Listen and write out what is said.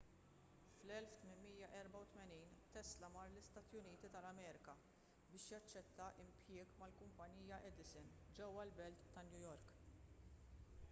fl-1884 tesla mar l-istati uniti tal-amerika biex jaċċetta impjieg mal-kumpanija edison ġewwa l-belt ta' new york